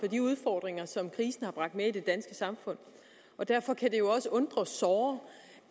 de udfordringer som krisen har bragt med i det danske samfund og derfor kan det jo også undre såre